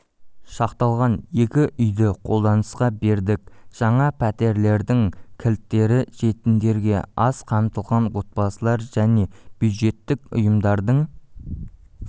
шақталған екі үйді қолданысқа бердік жаңа пәтерлердің кілттері жетімдерге аз қамтылған отбасылар және бюджеттік ұйымдардың